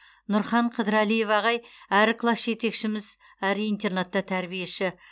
нұрхан қыдырәлиев ағай әрі класс жетекшіміз әрі интернатта тәрбиеші